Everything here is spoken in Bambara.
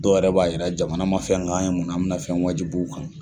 Dɔw yɛrɛ b'a yira jamana man fɛn k'an ye munna bɛna fɛn wajib'u kan.